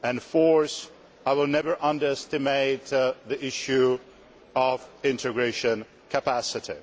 Fourthly, I will never underestimate the issue of integration capacity.